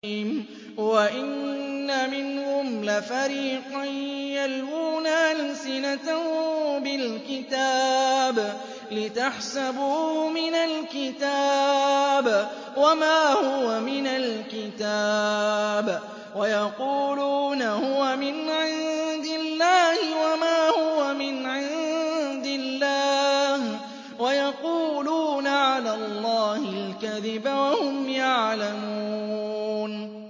وَإِنَّ مِنْهُمْ لَفَرِيقًا يَلْوُونَ أَلْسِنَتَهُم بِالْكِتَابِ لِتَحْسَبُوهُ مِنَ الْكِتَابِ وَمَا هُوَ مِنَ الْكِتَابِ وَيَقُولُونَ هُوَ مِنْ عِندِ اللَّهِ وَمَا هُوَ مِنْ عِندِ اللَّهِ وَيَقُولُونَ عَلَى اللَّهِ الْكَذِبَ وَهُمْ يَعْلَمُونَ